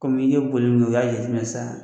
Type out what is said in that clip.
Kɔmi i ye boli min i y'a jateinɛ sisan